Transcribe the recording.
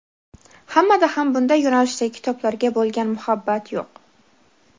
Hammada ham bunday yo‘nalishdagi kitoblarga bo‘lgan muhabbat yo‘q.